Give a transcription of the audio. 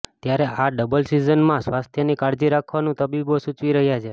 ત્યારે આ ડબલ સીઝનમાં સ્વાસ્થ્યની કાળજી રાખવાનું તબીબો સૂચવી રહ્યા છે